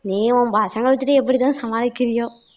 நீ உன் பசங்களை வச்சுக்கிட்டு எப்படி தான் சமாளிக்கிறியோ